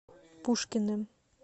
пушкиным